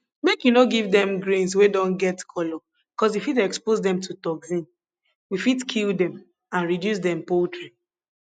make you no give dem grains wey don get color cuz e fit expose dem to toxin we fit kill dem and reduce dem poultry